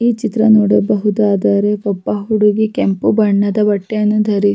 ಈ ಚಿತ್ರ ನೋಡಬಹುದಾದದರೆ ಒಬ್ಬ ಹುಡುಗಿ ಕೆಂಪು ಬಣ್ಣದ ಬಟ್ಟೆಯನ್ನು ಧರಿಸಿ-